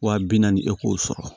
Wa bi naani e k'o sɔrɔ